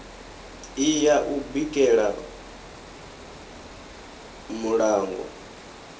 i ya u bikela muṋango